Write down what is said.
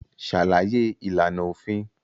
Ṣàlàyé ìlànà òfin